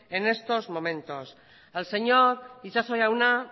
en estos momentos al señor itxaso jauna